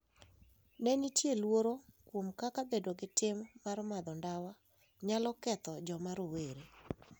Ne nitie luoro kuom kaka bedo gi tim mar madho ndawa nyalo ketho joma rowere.